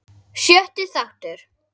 Sjötti þáttur